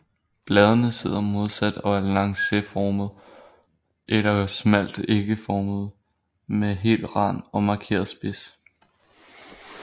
Bladene sidder modsat og er lancetformede eller smalt ægformede med hel rand og en markeret spids